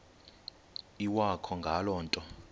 iwakho ngale nto